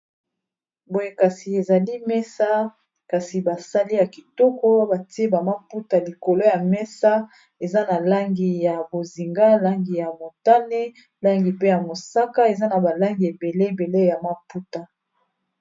Boye kasi ezali mesa kasi basali ya kitoko batie ba maputa likolo ya mesa eza na langi ya bozinga, langi ya motane, langi pe ya mosaka, eza na ba langi ebele ebele ya maputa.